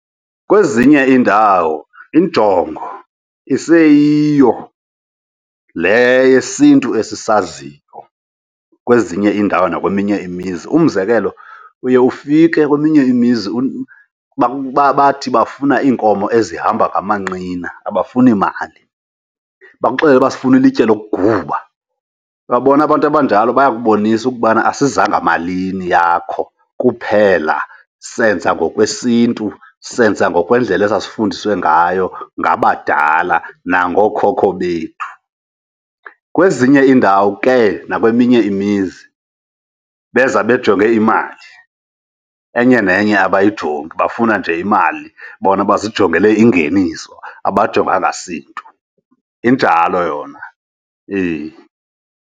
Kwezinye iindawo injongo iseyiyo le yesiNtu esizaziyo, kwezinye iindawo nakweminye imizi. Umzekelo uye ufike kweminye imizi bathi bafuna iinkomo ezihamba ngamanqina, abafuni mali. Bakuxelele uba sifuna ilitye lokuguba. Uyabona abantu abanjalo bayakubonisa ukubana asizanga malini yakho kuphela, senza ngokwesiNtu, senza ngokwendlela esasifundiswe ngayo ngabadala nangookhokho bethu. Kwezinye iindawo ke nakweminye imizi beza bejonge imali, enye nenye abayijongi, bafuna nje imali. bona basijongele ingeniso abajonganga siNtu. Injalo yona, eyi.